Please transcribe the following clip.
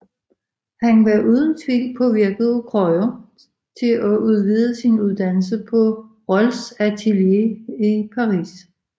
Han var uden tvivl påvirket af Krøyer til at udvide sin uddannelse på Rolls atelier i Paris